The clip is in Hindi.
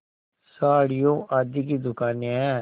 साड़ियों आदि की दुकानें हैं